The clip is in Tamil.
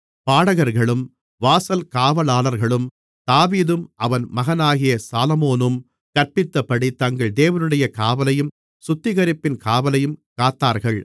பாடகர்களும் வாசல் காவலாளர்களும் தாவீதும் அவன் மகனாகிய சாலொமோனும் கற்பித்தபடி தங்கள் தேவனுடைய காவலையும் சுத்திகரிப்பின் காவலையும் காத்தார்கள்